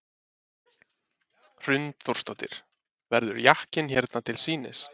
Hrund Þórsdóttir: Verður jakkinn hérna til sýnis?